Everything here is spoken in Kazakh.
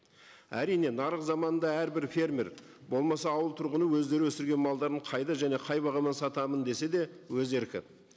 әрине нарық заманында әрбір фермер болмаса ауыл тұрғыны өздері өсірген малдарын қайда және қай бағадан сатамын десе де өз еркі